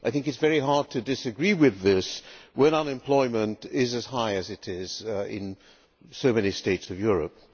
I think it is very hard to disagree with this when unemployment is as high as it is in so many states of Europe.